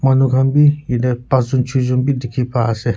manu khan be yate panch jon cheh jon be dikhi pai ase.